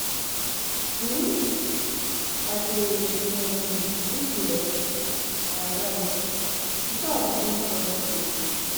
um I dey um look left and right before I begin cross road.